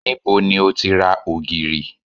Níbo ni o ti ra ògìrì?